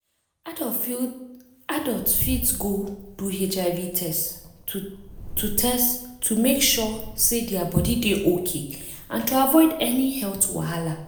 adults fit go do hiv test to test to make sure say their body dey okay and to avoid any health wahala.